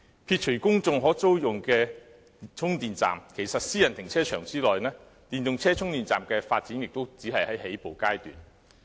撇除公眾可租用的充電站，其實在私人停車場內，電動車充電站的發展亦只是在起步階段。